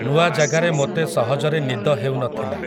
ନୂଆ ଜାଗାରେ ମୋତେ ସହଜରେ ନିଦ ହେଉ ନ ଥିଲା ।